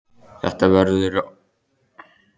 Þetta verður orðið rennislétt bara hvenær?